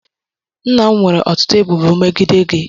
Nna m nwere ọtụtụ ebubo megide gị